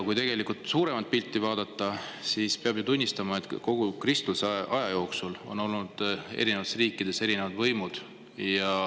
Kui tegelikult suuremat pilti vaadata, siis peab tunnistama, et kogu kristluse ajaloo jooksul on olnud eri riikides erinevad võimud.